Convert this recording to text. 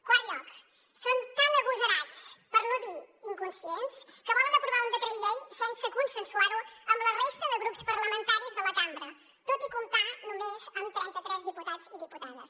quart lloc són tan agosarats per no dir inconscients que volen aprovar un decret llei sense consensuar lo amb la resta de grups parlamentaris de la cambra tot i comptar només amb trenta tres diputats i diputades